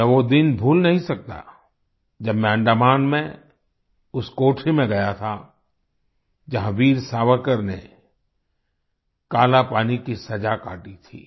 मैं वो दिन भूल नहीं सकता जब मैं अंडमान में उस कोठरी में गया था जहाँ वीर सावरकर ने कालापानी की सजा काटी थी